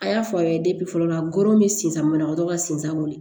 A y'a fɔ aw ye fɔlɔ la ngɔyɔ bɛ sen banabagatɔ ka sen san kɔni